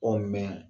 mɛn